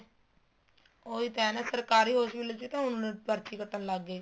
ਉਹੀ ਤਾਂ ਹੈ ਨਾ ਸਰਕਾਰੀ hospital ਚ ਵੀ ਤਾਂ ਹੁਣ ਪਰਚੀ ਕੱਟਣ ਲੱਗ ਗਏ